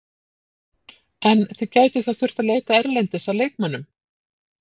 En þið gætuð þá þurft að leita erlendis að leikmönnum?